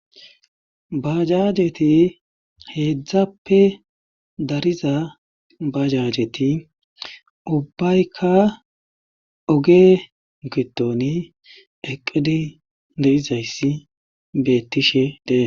Baajajeti heedzdzappe dariza baajajeti ubbayka oge giddoni eqqidi de7izayssi beettishe de7ee.